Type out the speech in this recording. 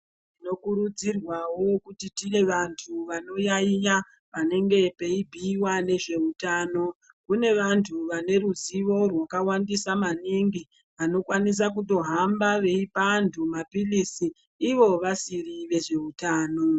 Tinokurudzirwawo kuti tive vantu vanoyaiya panenge peibhuiwa nezveutano. Kune vantu vaneruzivo rwakawandisa maningi ,vanokwanisa kutohamba veipa antu maphirizi ivo vasiri vezvehutano.